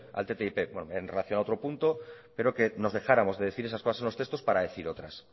al ttip en relación a otro punto pero que nos dejáramos de decir esas cosas en los textos para decir otras